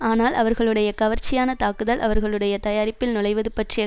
ஆனால் அவர்களுடைய கவர்ச்சியான தாக்குதல் அவர்களுடைய தயாரிப்பில் நுழைவது பற்றிய